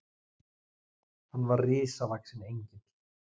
Hann var risavaxinn Engill.